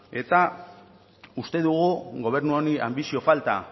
eta uste dugu gobernu honi anbizio falta